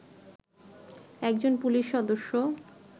একজন পুলিশ সদস্য